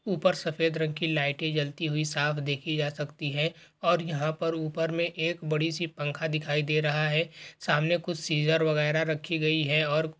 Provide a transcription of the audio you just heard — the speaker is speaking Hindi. ऊपर सफेद रंग की लाइटें जलती हुई साफ देखी जा सकती है और यहाँ पर ऊपर में एक बड़ा सी पंखा दिखाई दे रहा है। सामने कुछ सीजर बगैरा रखी गई है और --